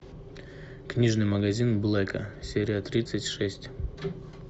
книжный магазин блэка серия тридцать шесть